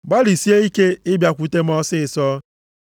Gbalịsie ike ịbịakwute m ọsịịsọ,